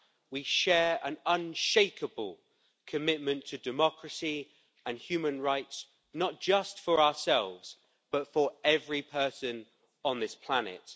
We share an unshakable commitment to democracy and human rights, not just for ourselves but for every person on this planet.